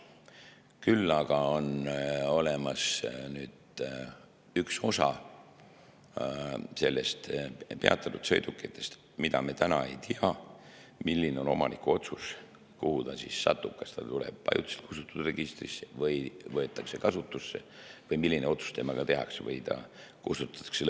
Küll aga on olemas üks osa peatatud sõidukitest, mille kohta me täna ei tea, milline on omaniku otsus, kuhu ta satub: kas ta tuleb ajutiselt kustutatute registrisse või võetakse kasutusse või ta kustutatakse lõplikult või milline otsus tehakse.